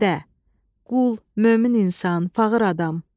Bəndə, qul, mömin insan, fağır adam.